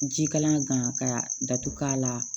Ji kalaman gan ka datugu k'a la